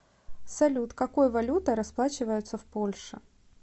салют какой валютой расплачиваются в польше